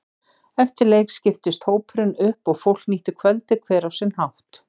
Eftir leik skiptist hópurinn upp og fólk nýtti kvöldið hver á sinn hátt.